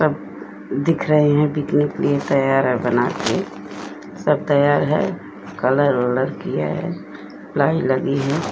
सब दिख रहे हैं बिकने के लिए तैयार है बनाके सब तैयार है कलर वलर किया है लाइन लगी है।